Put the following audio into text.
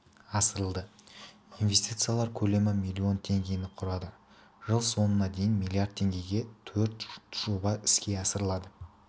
асырылды инвестициялар көлемі миллион теңгені құрады жыл соңына дейін миллиард теңгеге төрт жоба іске асырылады